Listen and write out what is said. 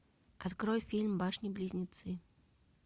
открой фильм башни близнецы